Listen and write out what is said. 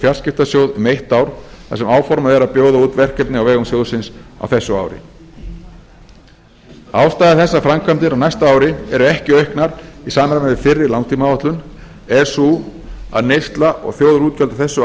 fjarskiptasjóð um eitt ár þar sem áformað er að bjóða út verkefni á vegum sjóðsins á þessu ári ástæða þess að framkvæmdir á næsta ári eru ekki auknar í samræmi við fyrri langtímaáætlun er sú að neysla og þjóðarútgjöld á þessu